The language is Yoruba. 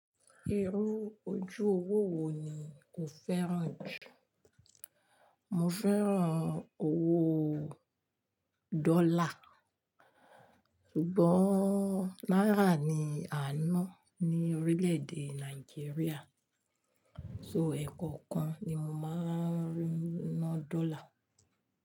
Irú ojú owó wo ni o fẹ́ràn jù? Mo fẹ́ràn owó dọ́là, ṣùgbọ́n náírà ni àná ní orílẹ̀-èdè Nàìjíríà, so ẹ̀kọ́ kan ni mo máa ń rina dọ́là.